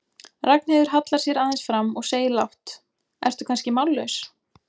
Ragnheiður hallar sér aðeins fram og segir lágt, ertu kannski mállaus?